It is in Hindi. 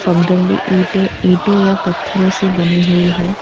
पगडंडी ईंटे इटों या पत्थरों से बनी हुईं हैं।